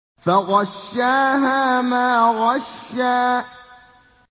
فَغَشَّاهَا مَا غَشَّىٰ